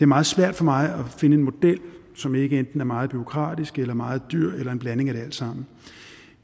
meget svært for mig at finde en model som ikke er enten meget bureaukratisk eller meget dyr eller en blanding af det alt sammen